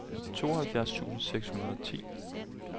tooghalvfjerds tusind seks hundrede og ti